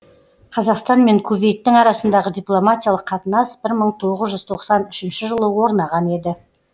қазақстан мен кувейттің арасындағы дипломатиялық қатынас бір мың тоғыз жүз тоқсан үшінші жылы орнаған еді